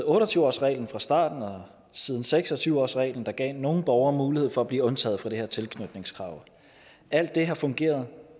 otte og tyve årsreglen fra starten og siden seks og tyve årsreglen der gav nogle borgere mulighed for at blive undtaget fra det her tilknytningskrav alt det har fungeret